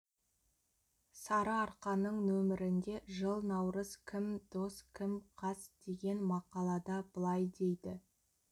сарыарқаның нөмірінде жыл наурыз кім дос кім қас деген мақалада былай дейді